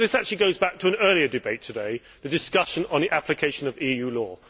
This actually goes back to an earlier debate today the discussion on the application of EU law.